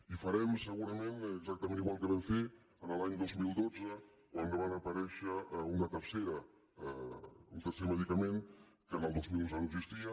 i farem segurament exactament igual que vam fer l’any dos mil dotze quan va aparèixer un tercer medicament que el dos mil onze no existia